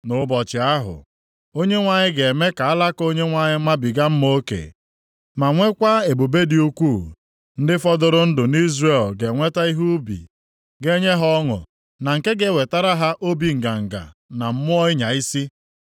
Nʼụbọchị ahụ, Onyenwe anyị ga-eme ka Alaka Onyenwe anyị mabiga mma oke, ma nwekwa ebube dị ukwuu. Ndị fọdụrụ ndụ nʼIzrel ga-enweta ihe ubi ga-enye ha ọṅụ, na nke ga-ewetara ha obi nganga na mmụọ ịnya isi.